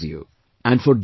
It relaxes you